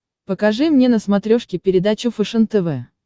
покажи мне на смотрешке передачу фэшен тв